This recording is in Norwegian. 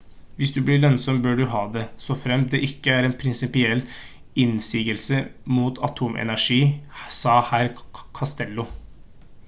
«hvis det blir lønnsomt bør vi ha det. så fremt det ikke er en prinsipiell innsigelse mot atomenergi» sa herr costello